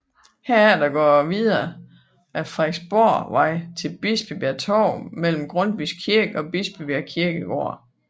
Herefter går det videre ad Frederiksborgvej til Bispebjerg Torv mellem Grundtvigs Kirke og Bispebjerg Kirkegård